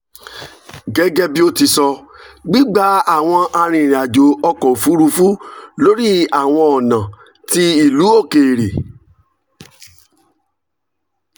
gẹgẹbi o ti sọ gbigba awọn arinrin ajo ọkọ ofurufu lori awọn ọna ti ilu okeere